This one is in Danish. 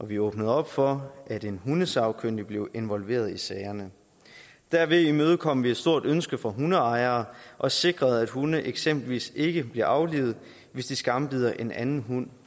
vi åbnede for at en hundesagkyndig bliver involveret i sagerne derved imødekom vi et stort ønske fra hundeejere og sikrede at hunde eksempelvis ikke bliver aflivet hvis de skambider en anden hund